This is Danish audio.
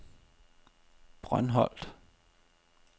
Brøndholt